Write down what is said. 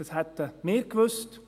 Das hätten wir gewusst.